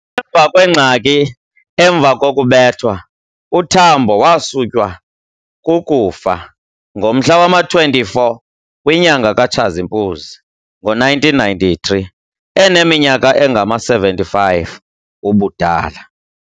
Emva kwengxaki emva kokubethwa, uTambo waswutywa kukufa ngomhla wama 24 kwinyanga ka Tshazimpuzi ngo-1993 eneminyaka engama-75 ubudala.